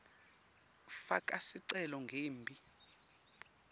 faka sicelo ngembi